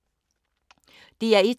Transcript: DR1